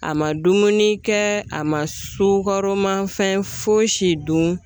A ma dumuni kɛ, a ma sukaro mafɛn foyi si dun